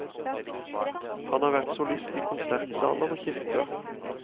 Han har vært solist i konsertsaler og kirker.